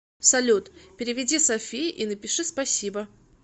салют переведи софии и напиши спасибо